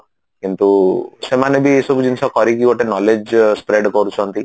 କିନ୍ତୁ ସେମାନେ ବି ଏଇ ସବୁ ଜିନିଷ କରିକି ଗୋଟେ knowledge spread କରୁଛନ୍ତି